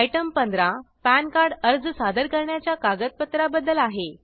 item 15 PAN card अर्ज सादर करणाच्या कागदपत्रा बद्दल आहे